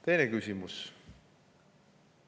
Teine küsimus.